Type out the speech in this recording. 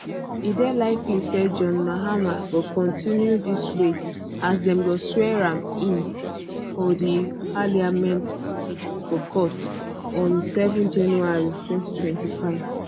e dey likely say john mahama go kontinu dis way as dem go swear am in for um di um parliament forecourt on 7 january 2025